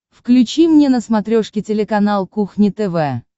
включи мне на смотрешке телеканал кухня тв